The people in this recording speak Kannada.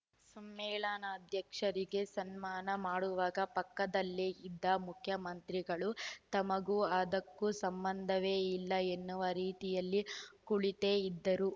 ಸಮ್ಮೇಳ ನಾಧ್ಯಕ್ಷರಿಗೆ ಸನ್ಮಾನ ಮಾಡುವಾಗ ಪಕ್ಕದಲ್ಲೇ ಇದ್ದ ಮುಖ್ಯಮಂತ್ರಿಗಳು ತಮಗೂ ಅದಕ್ಕೂ ಸಂಬಂಧವೇ ಇಲ್ಲ ಎನ್ನುವ ರೀತಿಯಲ್ಲಿ ಕುಳಿತೇ ಇದ್ದರು